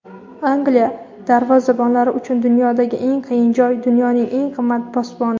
Angliya darvozabonlar uchun dunyodagi eng qiyin joy — dunyoning eng qimmat posboni.